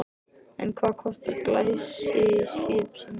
En hvað kostar glæsiskip sem þetta?